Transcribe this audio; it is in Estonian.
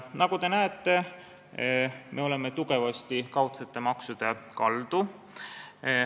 Nagu te näete, me oleme tugevasti kaudsete maksude poole kaldu.